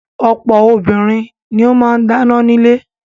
Ọ̀pọ̀ obìnrin ni ó máa ń dáná nílé.